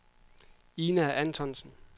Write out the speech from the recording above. Ina Antonsen